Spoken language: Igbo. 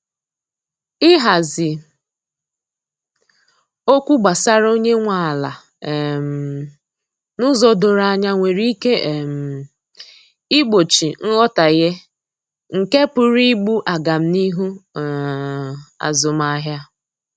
Ihazi okwu gbasara onye nwe ala um n'ụzọ doro anya nwere ike um igbochi nghọtahie nke pụrụ igbu agamnihu um azụmahịa.